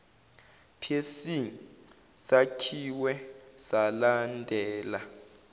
psc sakhiwe salandela